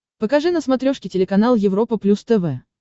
покажи на смотрешке телеканал европа плюс тв